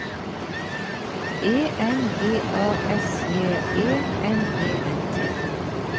E N G A S J E M E N T